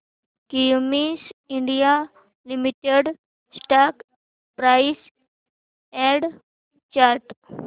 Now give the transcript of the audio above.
Cummins India limited stock price and chart